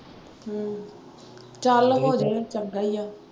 ਹਮ ਚੱਲ ਹੋ ਜਏ ਚੰਗਾ ਈ ਆ।